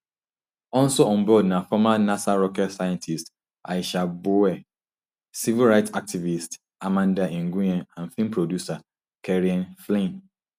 also on board na former nasa rocket scientist aisha bowe civil rights activist amanda nguyen and film producer kerianne flynn